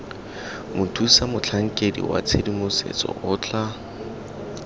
mothusamotlhankedi wa tshedimosetso o tla